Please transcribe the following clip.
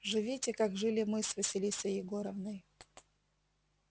живите как жили мы с василисой егоровной